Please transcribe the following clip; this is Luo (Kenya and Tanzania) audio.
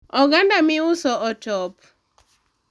oganda miuso otop